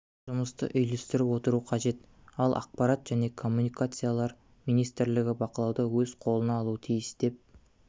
жұмысты үйлестіріп отыру қажет ал ақпарат және коммуникациялар министрлігі бақылауды өз қолына алуы тиіс деп